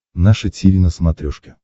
наше тиви на смотрешке